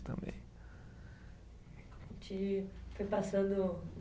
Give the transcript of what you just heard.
Também. A gente foi passando